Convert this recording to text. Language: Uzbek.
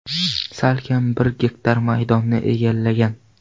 Salkam bir gektar maydonni egallagan.